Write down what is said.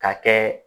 Ka kɛ